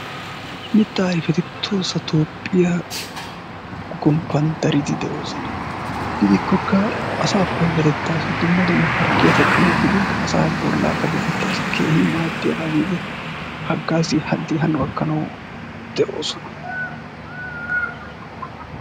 mitaa ayfeti tohissa toophiya gomppan dariidi de'oosona. gidikkokka Asaa payatettaassi Provide harggiya teqqanawu gidin asaa bolaa payatettaassi keehin maadiyaba gididi hagaaziya keehi hano gakkanawu de'o sohuwa.